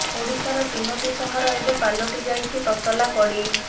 ଓଡ଼ିଶାର ତିନୋଟି ସହର ଏବେ ପାଲଟି ଯାଇଛି ତତଲା କଡ଼େଇ